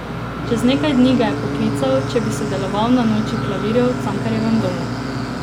Čez nekaj dni ga je poklical, če bi sodeloval na Noči klavirjev v Cankarjevem domu.